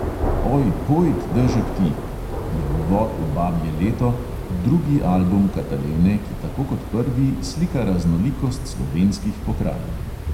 "Oj, pojd, dežek ti" je uvod v babje leto, drugi album katalene, ki tako kot prvi slika raznolikost slovenskih pokrajin.